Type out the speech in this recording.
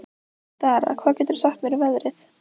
Dara, hvað geturðu sagt mér um veðrið?